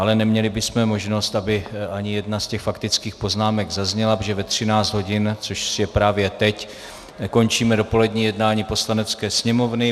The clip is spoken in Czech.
Ale neměli bychom možnost, aby ani jedna z těch faktických poznámek zazněla, protože ve 13 hodin, což je právě teď, končíme dopolední jednání Poslanecké sněmovny.